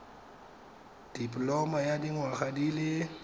dipoloma ya dinyaga di le